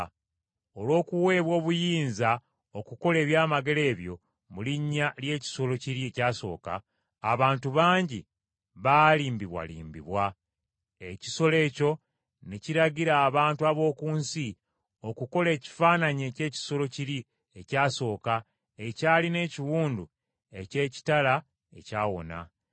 Olw’okuweebwa obuyinza okukola ebyamagero ebyo mu linnya ly’ekisolo kiri ekyasooka, abantu bangi baalimbibwalimbibwa. Ekisolo ekyo ne kiragira abantu ab’oku nsi okukola ekifaananyi eky’ekisolo kiri ekyasooka ekyalina ekiwundu eky’ekitala ekyawona.